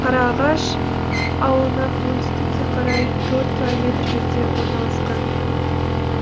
қараағаш ауылынан оңтүстікке қарай төрт километр жерде орналасқан